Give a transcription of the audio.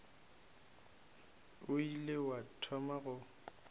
o ile wa thoma go